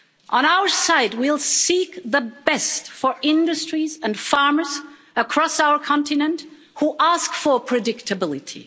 On our side, we'll seek the best for industries and farmers across our continent who ask for predictability.